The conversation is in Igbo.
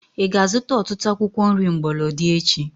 Ị ga-azuta ọtụtụ akwụkwọ nri mgbolodi echi?